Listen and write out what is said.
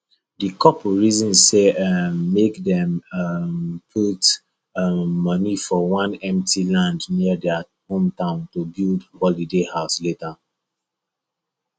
the couple reason say um make dem um put um money for one empty land near their hometown to build holiday house later